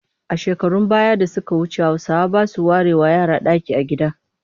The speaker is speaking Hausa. A shekarun baya da suka wuce Hausawa ba sa warewa yara ɗaki a gida